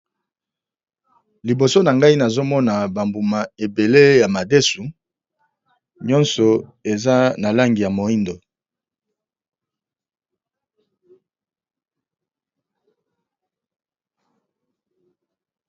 Liboso na ngai nazomona ba mbuma ebele ya madesu, nyonso eza na langi ya moyindo.